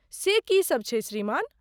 से की सब छै श्रीमान?